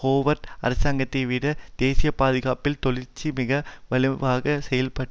Howard அரசாங்கத்தைவிட தேசிய பாதுகாப்பில் தொழிற்கட்சி மிக வலுவாக செயல்படும்